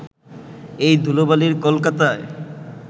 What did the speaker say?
এই ধুলোবালির কলকাতায়